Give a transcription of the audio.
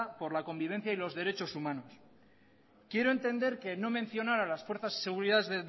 por la convivencia y los derechos humanos quiero entender que no mencionar a las fuerzas y seguridades